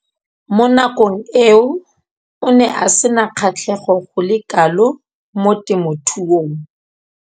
Mo nakong eo o ne a sena kgatlhego go le kalo mo temothuong.